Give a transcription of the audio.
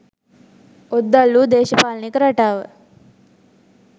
ඔද්දල් වූ දේශපාලනික රටාව